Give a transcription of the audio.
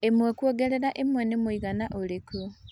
ĩmwe kũongerera ĩmwe nĩmwĩigana ũrĩkũ